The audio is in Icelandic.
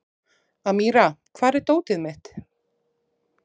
Amíra, hvar er dótið mitt?